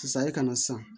Sisan e kana san